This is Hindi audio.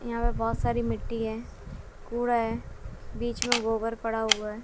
यहां पे बहुत सारी मिट्टी है कूड़ा है बीच में गोबर पड़ा हुआ है।